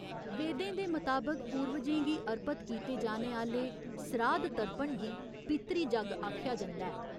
वेदें दे मताबक पूर्वजें गी अर्पत कीते जाने आह्‌ले सराध तर्पण गी पितृ जग्ग आखेआ जंदा ऐ।